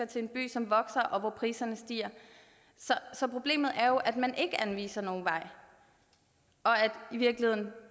til en by som vokser og hvor priserne stiger så problemet er jo at man ikke anviser nogen vej og at